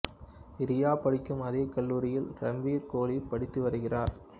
ரியா படிக்கும் அதே கல்லூரியில் ரன்பீர் கோலி படித்து வருகிறார்